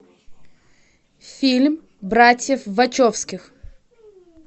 фильм братьев вачовски